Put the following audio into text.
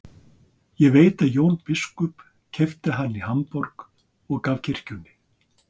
Ég veit að Jón biskup keypti hana í Hamborg og gaf kirkjunni.